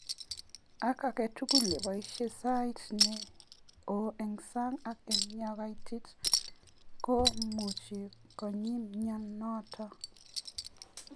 Ako aketugul neboishee sait ne o eng sang ak eng ye kaitit ko muchi kony myanotok.